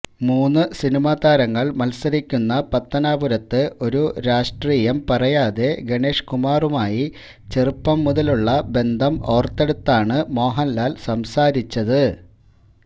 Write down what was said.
മൂന്ന് സിനിമാ താരങ്ങള് മത്സരിക്കുന്ന പത്തനാപുരത്ത് ഒരു രാഷ്ട്രീയം പറയാതെ ഗണേഷ്കുമാറുമായി ചെറുപ്പം മുതലുള്ള ബന്ധം ഓര്ത്തെടുത്താണ് മോഹന്ലാല് സംസാരിച്ചത്